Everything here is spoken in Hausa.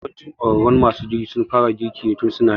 Yawancin ƙwararrun masu girki sun fara girki ne tun su na yara.